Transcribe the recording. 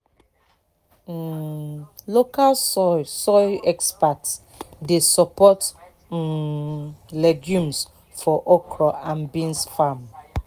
um local soil soil experts dey support um legumes for okra and beans farm."